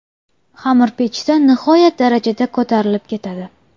Xamir pechda nihoyat darajada ko‘tarilib ketadi.